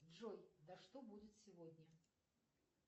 джой да что будет сегодня